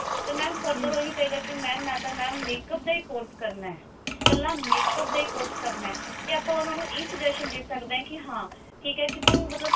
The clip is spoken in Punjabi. ਤੇ mam further ਉਹ ਇਹੀ ਕਹੇਗਾ ਕੀ mam ਮੈਂ ਤਾਂ mam makeup ਦਾ ਹੀ course ਕਰਨਾ ਕੱਲਾ makeup ਦਾ ਹੀ course ਕਰਨਾ ਤੇ ਆਪਾਂ ਉਹਨਾਂ ਨੂੰ ਇਹ suggestion ਦੇ ਸਕਦੇ ਹਾਂ ਠੀਕ ਹੈ ਤੂੰ ਮਤਲਬ